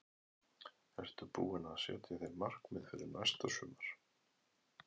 Ertu búinn að setja þér markmið fyrir næsta sumar?